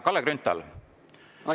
Kalle Grünthal, palun!